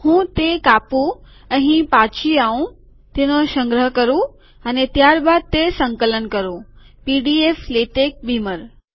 હું તે કાપું અહીં પાછો આઉં તેનો સંગ્રહ કરું અને ત્યારબાદ તે સંકલન કરું પીડીએફલેટેક બીમર